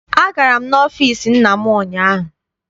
Agara m n'ọfịịsi nna m ụnyaahụ.